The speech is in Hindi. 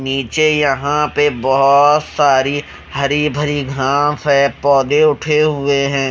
नीचे यहां पे बहोत सारी हरी भरी घास है पौधे उठे हुए हैं।